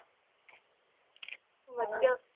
ਵਧੀਆ